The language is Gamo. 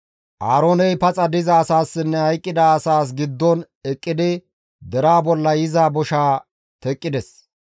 Aarooney paxa diza asaassinne hayqqida asaas giddon eqqidi deraa bolla yiza boshaa teqqides.